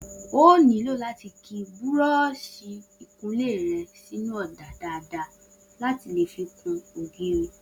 O óò nílò láti ki búró̩ò̩s̩ì ìkunlé re̩ sínú ò̩dà dáadáa láti lè fi kun ògiri